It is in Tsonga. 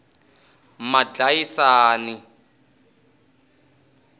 madlayisani